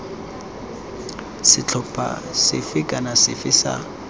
setlhopha sefe kana sefe sa